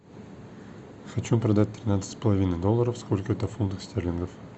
хочу продать тринадцать с половиной долларов сколько это в фунтах стерлингов